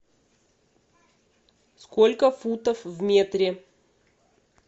сколько футов в метре